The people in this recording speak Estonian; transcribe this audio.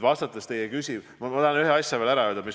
Ma tahan ühe asja veel ära öelda.